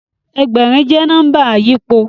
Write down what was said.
Ẹgbẹ̀rin jẹ́ nọ́mbà àyípo